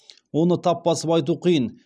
оны тап басып айту қиын